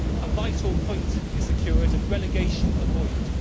a vital point is secured and relegation is avoided.